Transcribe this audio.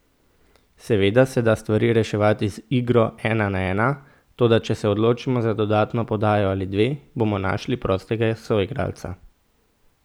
Seveda se da stvari reševati z igro ena na ena, toda če se odločimo za dodatno podajo ali dve, bomo našli prostega soigralca.